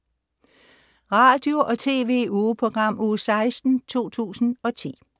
Radio- og TV-ugeprogram Uge 16, 2010